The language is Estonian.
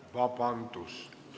Aa, vabandust!